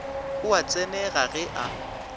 o a tsenega ge a